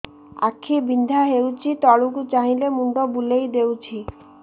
ଆଖି ବିନ୍ଧା ହଉଚି ତଳକୁ ଚାହିଁଲେ ମୁଣ୍ଡ ବୁଲେଇ ଦଉଛି